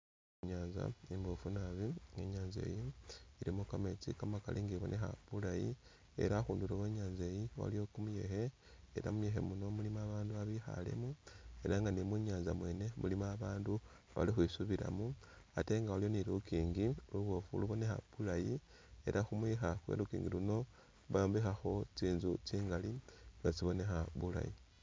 Inyanza imbofu naabi, inyanza eyi ilimo kametsi kamakaali nga ibonekha bulaayi elah khundulo khwe nyanza eyi iliyo kumuyekhe elah mumuyekhe kuuno iliwo babandu babekhalemo elah nga ni mu'nyanza mwene mulimo abandu balikhwisubilamo ate nga waliwo ni lunkingi lubofu lulikhubonekha bulaayi elah khumwikha khwe lunkingi luuno bayombekhakho tsinzu tsingali nga tsibonekha bulaayi